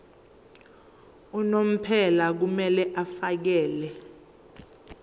unomphela kumele afakele